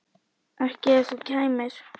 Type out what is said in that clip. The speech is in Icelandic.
Ekki ef þú kæmir.